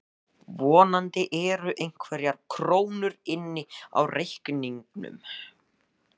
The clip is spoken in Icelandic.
Vonandi eru einhverjar krónur inni á reikningnum.